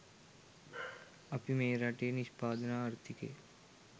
අපි මේ රටේ නිෂ්පාදන ආර්ථිකය